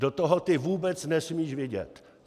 Do toho ty vůbec nesmíš vidět.